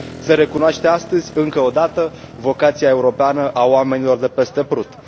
Se recunoaște astăzi, încă o dată, vocația europeană a oamenilor de peste Prut!